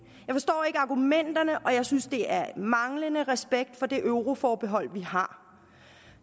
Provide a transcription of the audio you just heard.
argumenterne og jeg synes det er manglende respekt for det euroforbehold vi har